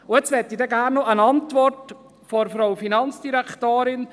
Nun würde mich die Antwort der Regierungsrätin interessieren: